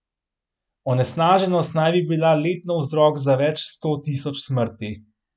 Onesnaženost naj bi bila letno vzrok za več sto tisoč smrti.